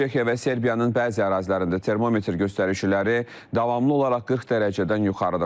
Çexiya və Serbiyanın bəzi ərazilərində termometr göstəriciləri davamlı olaraq 40 dərəcədən yuxarıdır.